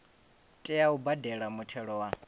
tea u badela muthelo wa